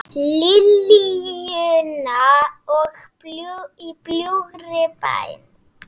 Liljuna og Í bljúgri bæn.